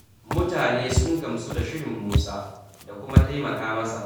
Mutane sun gamsu da shirin Musa, da kuma taimaka masa.